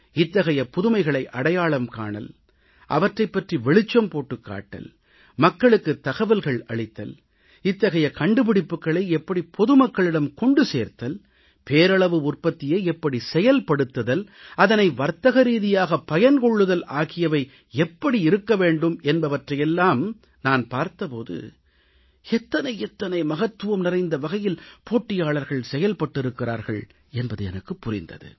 இத்தகைய புதுமைகளை அடையாளம் காணல் அவற்றைப்பற்றி வெளிச்சம் போட்டுக் காட்டல் மக்களுக்குத் தகவல்கள் அளித்தல் இத்தகைய கண்டுபிடிப்புக்களை எப்படி பொதுமக்களிடம் கொண்டு சேர்த்தல் பேரளவு உற்பத்தியை எப்படி செயல்படுத்துதல் அதனை வர்த்தகரீதியாக பயன்கொள்ளுதல் ஆகியவை எப்படி இருக்க வேண்டும் என்பவற்றை எல்லாம் நான் பார்த்த போது எத்தனை எத்தனை மகத்துவம் நிறைந்த வகையில் போட்டியாளர்கள் செயல்பட்டிருக்கிறார்கள் என்பது எனக்குப் புரிந்தது